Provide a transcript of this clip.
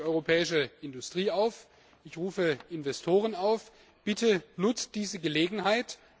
Ich rufe die europäische Industrie auf, ich rufe Investoren auf Bitte nutzt diese Gelegenheit!